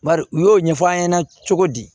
Bari u y'o ɲɛfɔ an ɲɛna cogo di